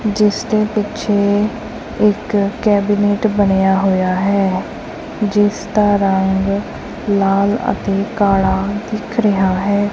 ਜਿਸਦੇ ਪਿੱਛੇ ਇਕ ਕੈਬਨੇਟ ਬਣਿਆ ਹੋਇਆ ਹੈ ਜਿਸ ਦਾ ਰੰਗ ਲਾਲ ਅਤੇ ਕਾਲਾ ਦਿਖ ਰਿਹਾ ਹੈ।